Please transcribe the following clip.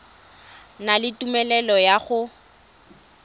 na le tumelelo ya go